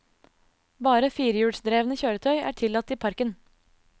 Bare firehjulsdrevne kjøretøy er tillatt i parken.